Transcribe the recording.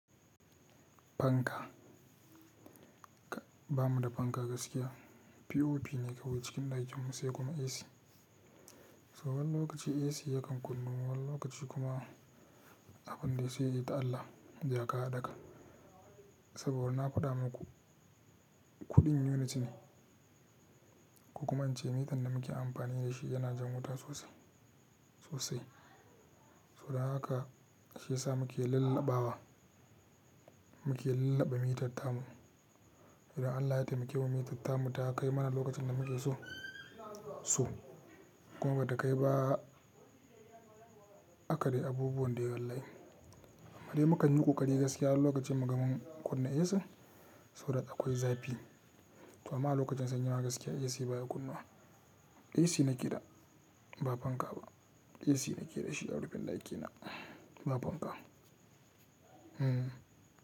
Fanka, ba mu da fanka gaskiya. POP ne kawai cikin ɗakin mu sai kuma AC. So wani lokaci AC yakan kunnuwa wani lokaci kuma abun da ya so yayi ta Allah, jaka haɗaka. Saboda wurna kuɗa muku, kuɗin yuniti ne. Ku kuma ance mitan da muke amfani da shi yana jan wuta sosai, sosai. So dan haka shi ya sa muke lallaɓawa, muke lallaɓa mitatta mu. Idan Allah yayi ta muke wa mitatta mu ta kai mana lokacin da muke so, so. Kuma ba ta kai ba aka dai abubuwan da yawan rai. Ma dai mukan yi ƙuƙaɗi gaskiya lokacin mu gamon kunna AC, sau da akwai zafi. To amma lokacin sanyi gaskiya AC baya kunnuwa. AC nake da, ba fanka ba. AC nake da shi a rufin ɗakina, ba fanka. Hmm.